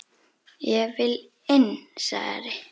Ég vil inn, sagði Ari.